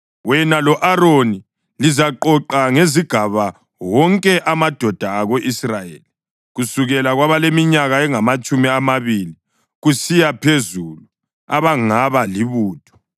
Wena lo-Aroni lizaqoqa ngezigaba wonke amadoda ako-Israyeli kusukela kwabaleminyaka engamatshumi amabili kusiya phezulu abangaba libutho.